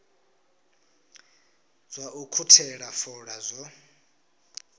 zwa u ukhuthela fola zwo